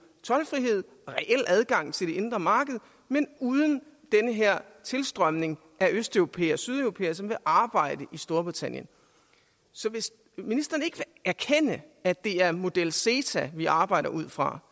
toldfrihed reel adgang til det indre marked men uden den her tilstrømning af østeuropæere og sydeuropæere som vil arbejde i storbritannien så hvis ministeren ikke vil erkende at det er model ceta vi arbejder ud fra